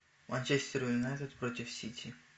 манчестер юнайтед против сити